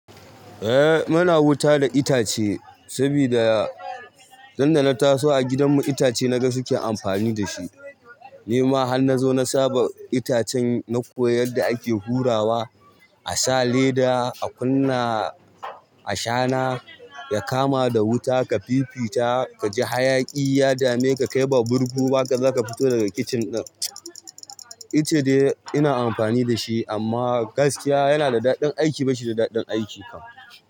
Eh muna wuta da itace sabida, dan da na taso a gidan mu itace na ga suke amfani da shi. Ni ma har na zo na saba itace na koya da hake hurawa, a sa leda a kunna ashana ya kama da wuta ka fifita ka ji hayaƙi ya dame ka kai ba burgu ba ka za fito daga kitchen. Ice ina amfani da shi amma gaskiya yana da daɗin aiki bashi da daɗin aiki kam.